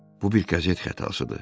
Bu bir qəzet xətasıdır.